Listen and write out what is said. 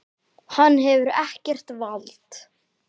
Hann hefur ekkert vald.